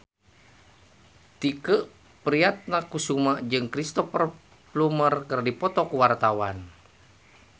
Tike Priatnakusuma jeung Cristhoper Plumer keur dipoto ku wartawan